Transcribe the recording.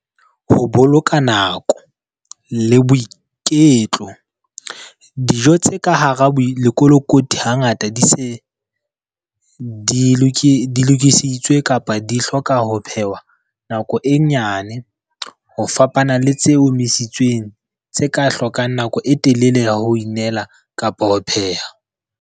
Ho boloka nako le boiketlo. Dijo tse ka hara lekolokoti hangata di se, di lokisitswe kapa di hloka ho phehwa nako e nyane ho fapana le tse omisitsweng tse ka hlokang nako e telele ya ho inela kapa ho pheha.